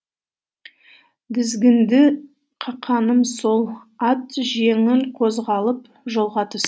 дізгінді қақаным сол ат жеңіл қозғалып жолға